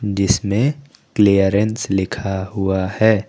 जिसमें क्लीयरेंस लिखा हुआ है।